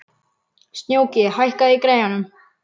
Snjóki, hækkaðu í græjunum.